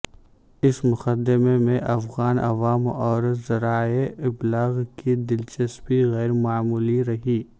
اس مقدمے میں افغان عوام اور ذرائع ابلاغ کی دلچسپی غیرمعمولی رہی